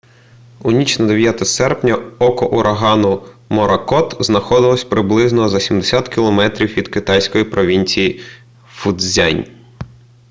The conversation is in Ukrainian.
у ніч на 9 серпня око урагану моракот знаходилося приблизно за сімдесят кілометрів від китайської провінції фуцзянь